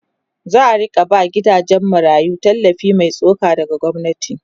za'a rinka ba gidajen marayu tallafi Mai tsoka daga gwamnati